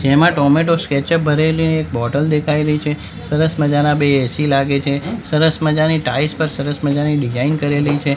જેમાં tomato ketchup ભરેલી એક બોટલ દેખાય રહી છે સરસ મજાના બે એ_સી લાગે છે સરસ મજાની ટાઇલ્સ પર સરસ મજાની ડિઝાઇન કરેલી છે.